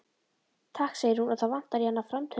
Takk segir hún og það vantar í hana framtennurnar.